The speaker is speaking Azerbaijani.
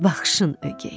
Baxışın ögəy.